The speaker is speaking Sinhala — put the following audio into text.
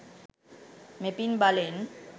මෙපින් බලෙන්